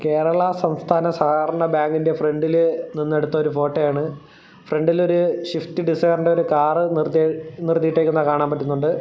കേരള സംസ്ഥാന സഹകരണ ബാങ്കിന്റെ ഫ്രണ്ടില് നിന്നെടുത്തൊരു ഫോട്ടോയാണ് ഫ്രണ്ടിൽ ഒരു സ്വിഫ്റ്റ് ഡിസൈറിന്റെ ഒരു കാർ നിർത്തിയി നിർത്തിയിട്ടിരിക്കുന്നത് കാണാൻ പറ്റുന്നുണ്ട്.